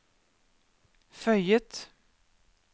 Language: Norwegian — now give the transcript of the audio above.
føyet